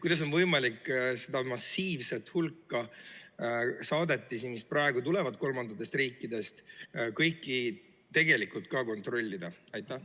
Kuidas on võimalik seda massiivset hulka saadetisi, mis praegu tulevad kolmandatest riikidest, tegelikult ka kontrollida?